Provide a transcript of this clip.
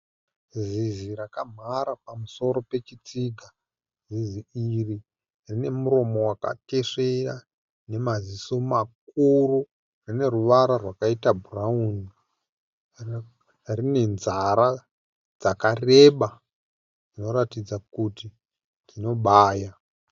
Zizi raka mhara pamusoro pechitsiga. Zizi iri rine muromo waka tesvera nemaziso makuru, rine ruvara rwakaita bhurauni. Rine nzara dzakareba dzino ratidza kuti dzino baya.